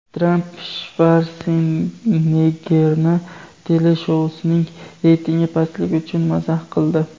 Tramp Shvarseneggerni teleshousining reytingi pastligi uchun mazax qildi.